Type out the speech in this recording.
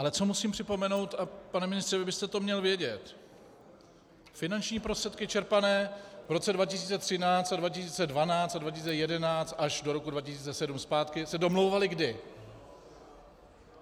Ale co musím připomenout, a pane ministře, vy byste to měl vědět: Finanční prostředky čerpané v roce 2013 a 2012 a 2011 až do roku 2007 zpátky se domlouvaly kdy?